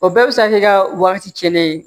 O bɛɛ bɛ se ka kɛ ka wagati kelen ye